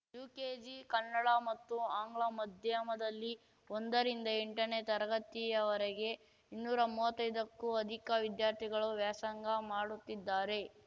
UKG Kannada ಮತ್ತು ಆಂಗ್ಲ ಮದ್ಯಮದಲ್ಲಿ ಒಂದ ರಿಂದ ಎಂಟನೇ ತರಗತಿಯವರೆಗೆ ಇನ್ನೂರಾ ಮುವತ್ತೈದಕ್ಕೂ ಅಧಿಕ ವಿದ್ಯಾರ್ಥಿಗಳು ವ್ಯಾಸಂಗ ಮಾಡುತ್ತಿದ್ದಾರೆ